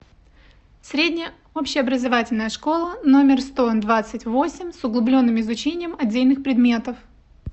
средняя общеобразовательная школа номер сто двадцать восемь с углубленным изучением отдельных предметов